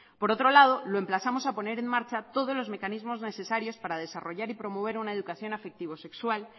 por otro lado lo emplazamos a poner en marcha todos los mecanismos necesarios para desarrollar y promover una educación afectivo sexual